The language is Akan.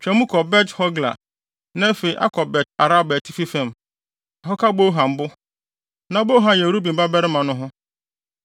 twa mu kɔ Bet-Hogla, na afei akɔ Bet-Araba atifi fam, akɔka Bohan bo (Na Bohan yɛ Ruben babarima) no ho.